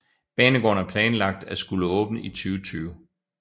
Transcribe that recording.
Banegården er planlagt at skulle åbne i 2020